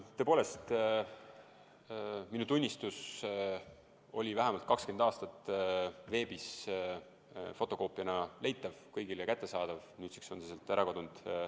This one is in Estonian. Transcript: Tõepoolest, minu tunnistus oli vähemalt 20 aastat veebis fotokoopiana leitav, kõigile kättesaadav, nüüdseks on see sealt ära kadunud.